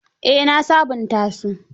Eh na sabunta su.